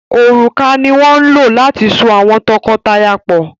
òrùka ní wón ló láti sọ awọn tọkọtaya pọ.